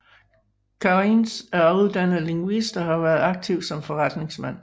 Kariņš er uddannet lingvist og har været aktiv som forretningsmand